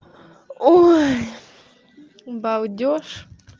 ой балдёж